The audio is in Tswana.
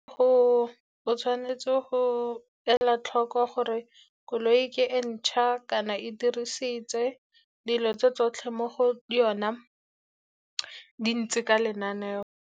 O tshwanetse go ela tlhoko gore koloi ke e ntšha kana e diriseditswe, dilo tsotlhe mo go yona di ntse ka lenaneo.